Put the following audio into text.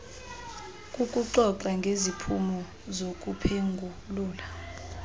kukuxoxa ngeziphumo zokuphengulula